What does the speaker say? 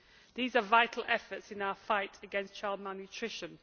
These are vital efforts in our fight against child malnutrition.